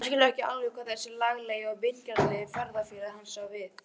Hann skilur ekki alveg hvað þessi laglegi og vingjarnlegi ferðafélagi hans á við.